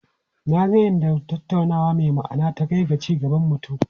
Na ga inda tattaunawa mai ma'ana ta kai ga ci gaban mutum.